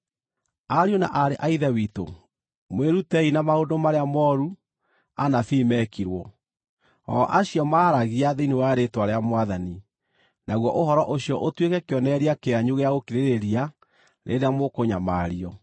Ariũ na aarĩ a Ithe witũ, mwĩrutei na maũndũ marĩa mooru anabii meekirwo, o acio maaragia thĩinĩ wa rĩĩtwa rĩa Mwathani, naguo ũhoro ũcio ũtuĩke kĩonereria kĩanyu gĩa gũkirĩrĩria rĩrĩa mũkũnyamario.